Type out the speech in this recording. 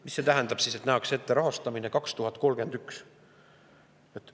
Mis see tähendab, et nähakse ette rahastamine aastaks 2031?